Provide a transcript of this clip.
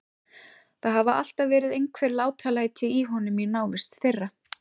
Það hafa alltaf verið einhver látalæti í honum í návist þeirra.